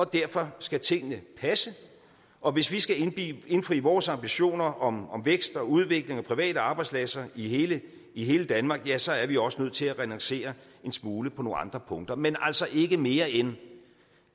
derfor skal tingene passe og hvis vi skal indfri vores ambitioner om om vækst og udvikling og private arbejdspladser i hele i hele danmark ja så er vi også nødt til at renoncere en smule på nogle andre punkter men altså ikke mere end